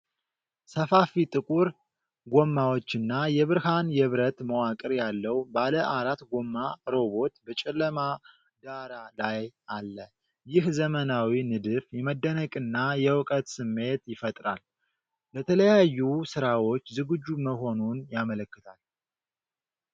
ሰፋፊ ጥቁር ጎማዎችና የብርሃን የብረት መዋቅር ያለው ባለአራት ጎማ ሮቦት በጨለማ ዳራ ላይ አለ። ይህ ዘመናዊ ንድፍ የመደነቅንና የእውቀት ስሜት ይፈጥራል፤ ለተለያዩ ሥራዎች ዝግጁ መሆኑን ያመለክታል።